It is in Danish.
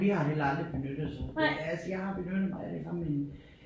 Vi har heller aldrig benyttet sådan nogle steder altså jeg har benyttet mig af det engang i